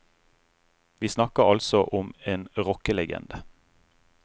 Vi snakker altså om en rockelegende.